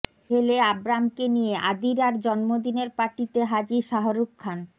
ছেলে আব্রামকে নিয়ে আদিরার জন্মদিনের পার্টিতে হাজির শাহরুখ খান